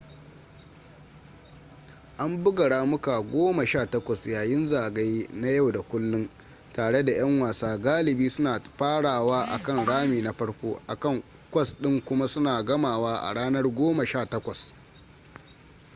an buga ramuka goma sha takwas yayin zagaye na yau da kullun tare da yan wasa galibi suna farawa akan rami na farko akan kwas ɗin kuma suna gamawa a ranar goma sha takwas